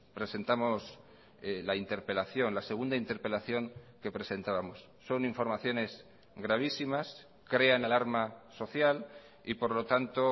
presentamos la interpelación la segunda interpelación que presentábamos son informaciones gravísimas crean alarma social y por lo tanto